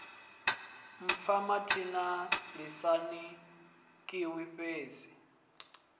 mpfa mathina ḓisani khiyi hedzi